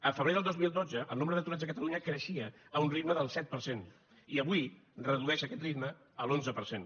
el febrer del dos mil dotze el nombre d’aturats a catalunya creixia a un ritme del set per cent i avui redueix aquest ritme a l’onze per cent